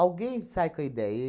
sai com a ideia.